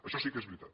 això sí que és veritat